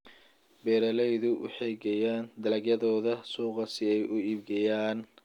Beeraleydu waxay geeyaan dalagyadooda suuqa si ay u iibgeeyaan.